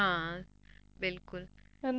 ਹਾਂ ਬਿਲਕੁਲ